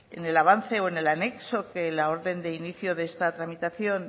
en el avance o en el anexo que la orden de inicio de esta tramitación